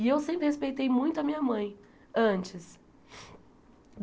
E eu sempre respeitei muito a minha mãe, antes.